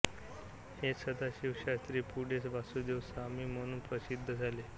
हेच सदाशिवशास्त्री पुढे वासुदेव स्वामी म्हणून प्रसिद्ध झाले